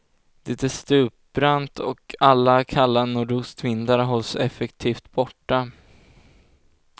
Det är stupbrant och alla kalla nordostvindar hålls effektivt borta.